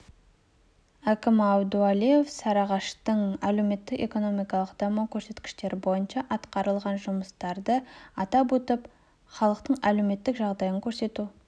әкімі әбдуәлиев сарыағаштың әлеуметтік-экономикалық даму көрсеткіштері бойынша атқарылған жұмыстарды атап өтіп халықтың әлеуметтік жағдайын көтеру